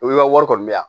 wari kɔni bɛ yan